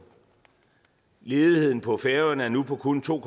ledigheden på færøerne er nu på kun to